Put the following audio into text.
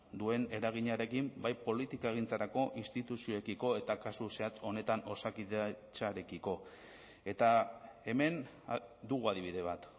duen eraginarekin bai politikagintzarako instituzioekiko eta kasu zehatz honetan osakidetzarekiko eta hemen dugu adibide bat